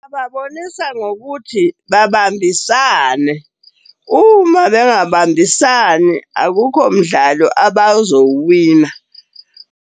Ngababonisa ngokuthi babambisane uma bengabambisani, akukho mdlalo abazowuwina.